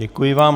Děkuji vám.